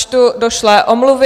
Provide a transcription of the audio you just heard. Načtu došlé omluvy.